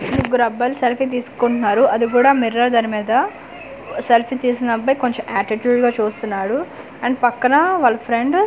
ముగ్గురబ్బాయిలు selfie తీసుకుంటున్నారు అదిగుడ mirror దాని మీద సెల్ఫీ తీస్తున్న అబ్బాయి కొంచం ఆటిట్యూడ్ గా చూస్తున్నాడు అండ్ పక్కన వాళ్ళ ఫ్రెండ్ .